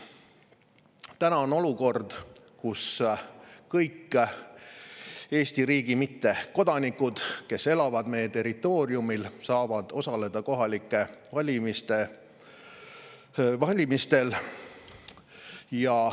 Praegu on olukord, kus kõik Eesti mittekodanikud, kes elavad meie territooriumil, saavad osaleda kohalikel valimistel.